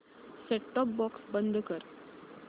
set top box बंद कर